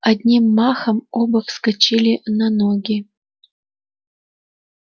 одним махом оба вскочили на ноги